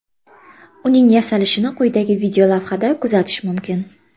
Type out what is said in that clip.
Uning yasalishini quyidagi videolavhada kuzatish mumkin.